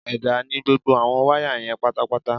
Ẹ̀dá ni gbogbo àwọn wáyà yẹn pátápátá